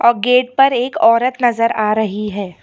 और गेट पर एक औरत नजर आ रही है।